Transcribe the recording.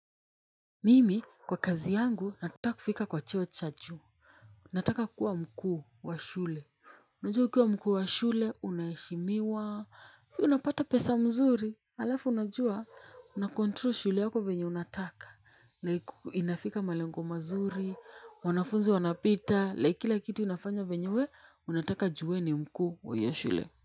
Mimi, kwa kazi yangu, nataka kufika kwa cheo cha juu. Nataka kuwa mkuu wa shule. Unajua ukiwa mkuu wa shule, unaheshimiwa. Unapata pesa nzuri. Alafu, unajua, una control shule yako venye unataka. Na inafika malengo mazuri. Wanafunzi wanapita. Like kitu unafanya venye wee unataka juu ni mkuu wa hiyo shule.